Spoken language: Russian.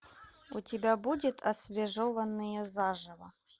у тебя будет освежеванные заживо